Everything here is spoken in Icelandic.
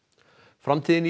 framtíðin í